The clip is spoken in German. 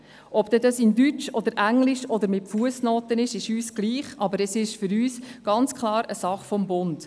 Ob dies in Deutsch oder Englisch oder mit Fussnoten geschieht, ist uns egal, aber es ist ganz klare Sache des Bundes.